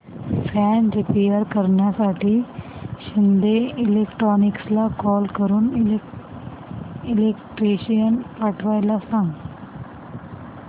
fan repair करण्यासाठी शिंदे इलेक्ट्रॉनिक्सला call करून इलेक्ट्रिशियन पाठवायला सांग